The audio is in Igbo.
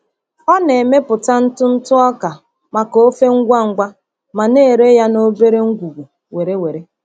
Ọ na-emepụta ntụ ntụ okra maka ofe ngwa ngwa ma na-ere ya n’obere ngwugwu were were.